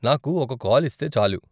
నాకు ఒక కాల్ ఇస్తే చాలు.